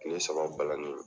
Tile saba balani